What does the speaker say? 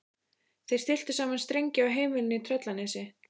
Þeir stilltu saman strengi á heimilinu í Tröllanesi.